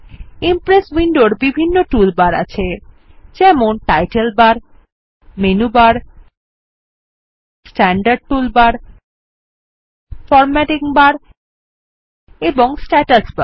Impress উইন্ডোর বিভিন্ন tool bar আছে যেমন title bar menu bar standard toolbar formatting bar এবং স্ট্যাটাস বার